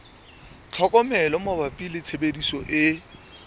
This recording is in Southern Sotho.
tlhokomelo mabapi le tshebediso e